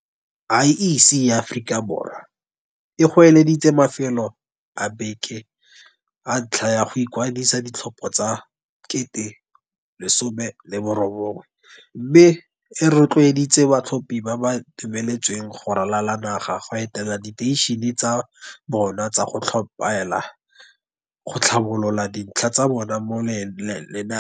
IEC ya Aforika Borwa e goeleditse mafelo a beke a ntlha a go ikwadisetsa ditlhopho tsa 1019 mme e ro tloeditse batlhophi ba ba dumeletsweng go ralala naga go etela diteišene tsa bona tsa go tlhophela go tlhabolola dintlha tsa bona mo lenaaneng.